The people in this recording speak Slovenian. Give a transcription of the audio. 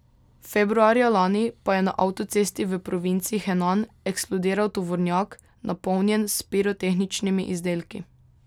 Februarja lani pa je na avtocesti v provinci Henan eksplodiral tovornjak, napolnjen s pirotehničnimi izdelki.